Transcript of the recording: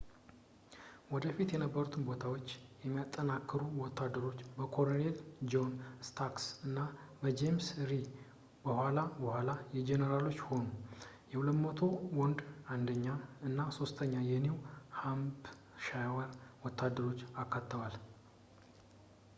ወደፊት የነበሩትን ቦታዎች የሚያጠናክሩ ወታደሮች በኮሎኔል ጆን ስታርክ እና በጄምስ ሪድ የኋላ ኋላ ጄኔራሎች ሆኑ የ 200 ወንዶች 1 ኛ እና 3 ኛ የኒው ሃምፕሻየር ወታደሮችን አካተዋል